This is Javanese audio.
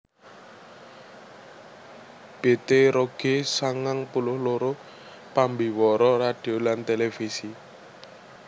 Bette Rogge sangang puluh loro pambiwara radio lan télévisi